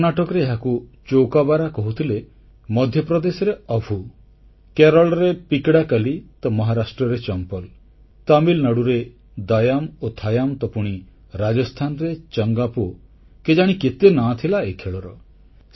କର୍ଣ୍ଣାଟକରେ ଏହାକୁ ଚୌକାବାରା କହୁଥିଲେ ମଧ୍ୟପ୍ରଦେଶରେ ଅଭୁ କେରଳରେ ପିକଡାକଲି ତ ମହାରାଷ୍ଟ୍ରରେ ଚମ୍ପଲ ତାମିଲନାଡୁରେ ଦାୟାମ୍ ଓ ଥାୟାମ୍ ତ ପୁଣି ରାଜସ୍ଥାନରେ ଚଙ୍ଗାପୋ କେଜାଣି କେତେ ନାଁ ଥିଲା ଏହି ଖେଳର